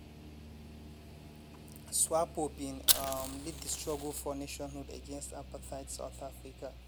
swapo bin um lead di struggle for nationhood against apartheid south africa.